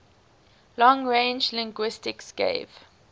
long range linguistics gave